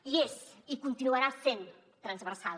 i és i continuarà sent transversal